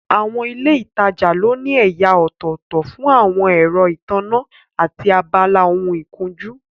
Àwọn ilé ìtajà ló ní ẹ̀yà ọ̀tọ̀ọ̀tọ̀ fún àwọn ẹ̀rọ ìtànná, àti abala ohun ìkunjú